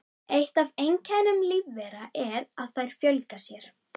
Eitt af einkennum lífvera er að þær fjölga sér.